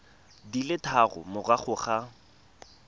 di le tharo morago ga